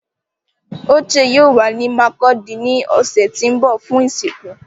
Oche yoo wa ni Markudi ni ọsẹ ti n bọ fun isinku